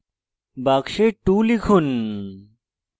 box 2 লিখুন